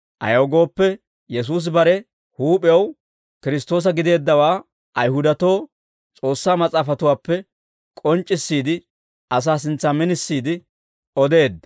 Ayaw gooppe, Yesuusi bare huup'ew Kiristtoosa gideeddawaa Ayihudatoo S'oossaa Mas'aafatuwaappe k'onc'c'issiide, asaa sintsan minisiide odeedda. Pawuloosa Heezzentso Ogiyaa